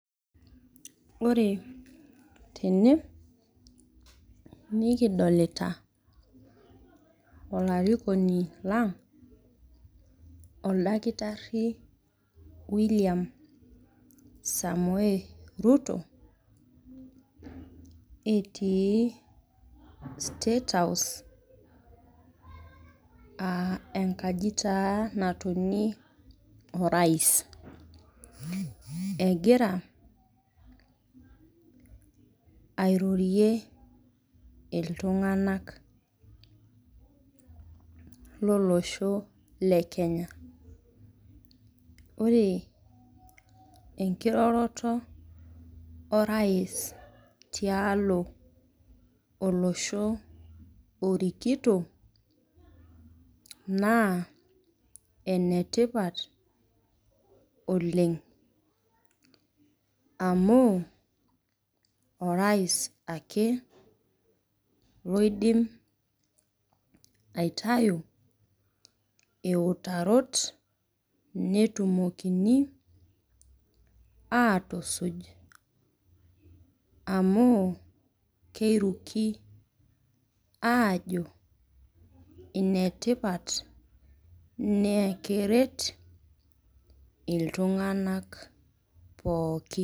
Ore tene nikidolita olarikoni lang' oldakitarri William Samoei Ruto etii statehouse [aa] enkaji taa natonie orais. Egira airorie iltung'anak lolosho le Kenya. Ore enkiroroto orais tiaalo olosho orikito naa enetipat oleng' amuu orais ake loidim aitayu iutarot netumokini aatusuj amuu keiruki aajo inetipat naakeret iltung'anak pooki.